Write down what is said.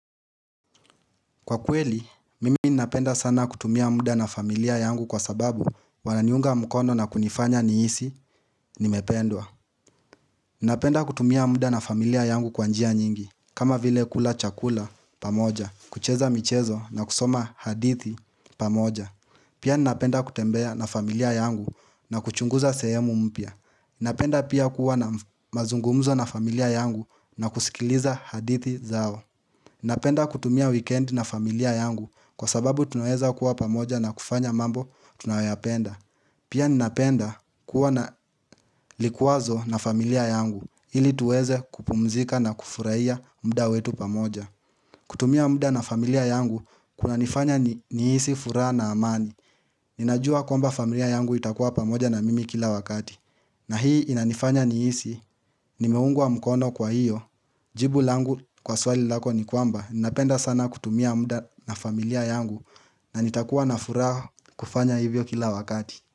Kwa kweli, mimi napenda sana kutumia muda na familia yangu kwa sababu wananiunga mkono na kunifanya niisi nimependwa. Napenda kutumia muda na familia yangu kwanjia nyingi, kama vile kula chakula pamoja, kucheza michezo na kusoma hadithi pamoja. Pia napenda kutembea na familia yangu na kuchunguza sehemu mpia. Napenda pia kuwa na mazungumzo na familia yangu na kusikiliza hadithi zao. Ninapenda kutumia weekend na familia yangu kwa sababu tunaeza kuwa pamoja na kufanya mambo tunayoyapenda. Pia ninapenda kuwa na likwazo na familia yangu ili tuweze kupumzika na kufuraiya mda wetu pamoja. Kutumia muda na familia yangu kuna nifanya niisi fura na amani. Ninajua kwamba familia yangu itakuwa pamoja na mimi kila wakati. Na hii inanifanya niisi, nimeungwa mkono kwa hiyo. Jibu langu kwa swali lako ni kwamba Ninapenda sana kutumia muda na familia yangu. Na nitakuwa na furaha kufanya hivyo kila wakati.